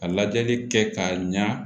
Ka lajɛli kɛ k'a ɲa